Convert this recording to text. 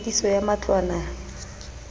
tlhwekiso ya matlwana ke le